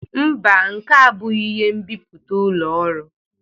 Mba, nke a abụghị ihe nbipute ụlọ ọrụ